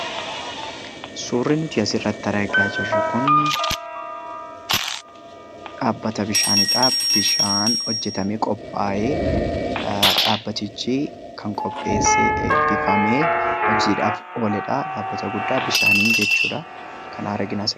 Suuri nuti asirratti argaa jirru kun dhaabbata bishaaniidha. Bishaan hojjetamee qophaa'ee, dhaabbatichi kan qopheesse eebbifamee hojiidhaaf ooledha, dhaabbata guddaa bishaaniin jechuudha. Kana argina asirratti.